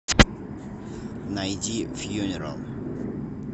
найди фьюнерал